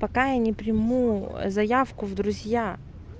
пока я не приму заявку в друзья